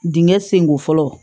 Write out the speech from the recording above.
Dingɛ senko fɔlɔ